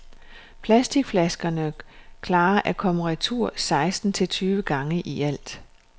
Plasticflaskerne klarer at komme retur seksten til tyve gange i alt.